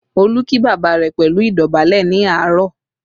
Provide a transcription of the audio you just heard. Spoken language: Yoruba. Olú kí bàbá rẹ̀ pẹ̀lú idobale ní àárọ̀